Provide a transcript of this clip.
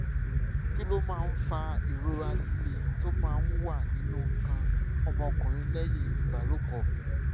kí ló máa ń fa ìrora líle tó máa ń wà nínú nǹkan ọmọkùnrin lẹ́yìn ìbálòpọ̀?